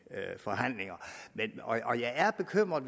forhandlinger og jeg er bekymret